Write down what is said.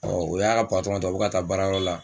Ɔ o y'a ka patɔrɔn ta u bɛ ka taa baarayɔrɔ la.